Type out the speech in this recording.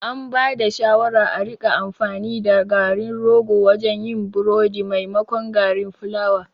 An bada shawara a rika amfani da garin rogo wajen yin burodi maimakon garin fulawa